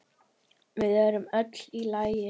Við erum öll í lagi.